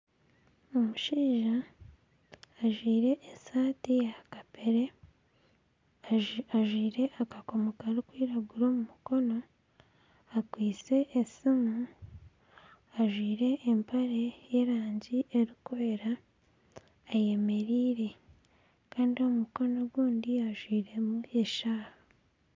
Omushaija ajwaire esaati ya kapeere ajwaire akakomo karikwiragura omu mukono, akwitse esiimu ajwaire empare y'erangi erikwera ayemereire kandi omu mukono ogu ajwairemu eshaaha.